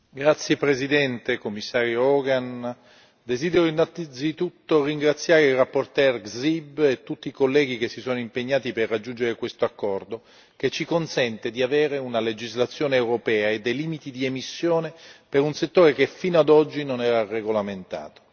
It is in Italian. Signora Presidente, onorevoli colleghi, Commissario Hogan, desidero innanzitutto ringraziare il relatore Grzyb e tutti i colleghi che si sono impegnati per raggiungere questo accordo che ci consente di avere una legislazione europea e dei limiti di emissione per un settore che fino ad oggi non era regolamentato.